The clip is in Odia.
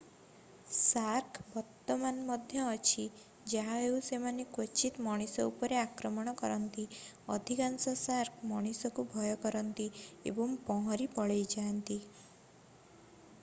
ଶାର୍କ ବର୍ତ୍ତମାନ ମଧ୍ୟ ଅଛି ଯାହାହେଉ ସେମାନେ କ୍ବଚିତ୍ ମଣିଷ ଉପରେ ଆକ୍ରମଣ କରନ୍ତି ଅଧିକାଂଶ ଶାର୍କ ମଣିଷକୁ ଭୟ କରନ୍ତି ଏବଂ ପହଁରି ପଳେଇଯାଆନ୍ତି